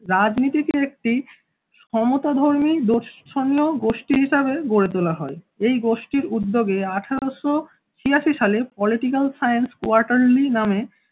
রাজনীতিতে একটি ক্ষমতা ধর্মী দর্শনীয় গোষ্ঠী হিসেবে গড়ে তোলা হয়। এই গোষ্ঠীর উদ্যোগে আঠারোশো ছিয়াশি সালে political science quaterly নাম